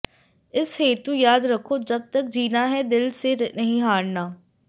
इस हेतु याद रखो जब तक जीना है दिल से नहीं हारना